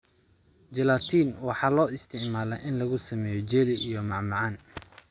Gelatin waxaa loo isticmaalaa in lagu sameeyo jelly iyo macmacaan.